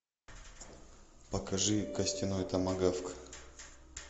покажи костяной томагавк